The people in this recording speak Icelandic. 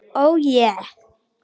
Ó je.